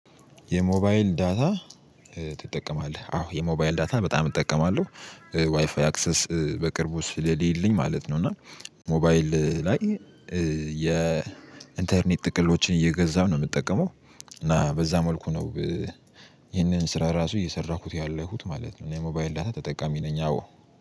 የሞባይል ዳታ ትጠቀማለህ አዎ የሞባይል ዳታ በጣም እጠቀማለሁ ዋይፋይ አክሰስ በቅርቡ ስለሌለኝ ማለት ነው። እና ሞባይል ላይ የኢንተርኔት ጥቅሎችን እየገዛሁ ነው የምጠቀመው እና በዛ መልኩ ነው። ይሄንን ስራ ራሱ እየሰራሁት ያለሁት ማለት ነው። የሞባይል ዳታ ተጠቃሚ ነኝ አዎ።